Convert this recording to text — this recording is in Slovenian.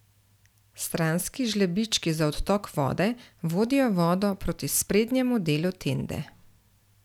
Stranski žlebički za odtok vode vodijo vodo proti sprednjemu delu tende.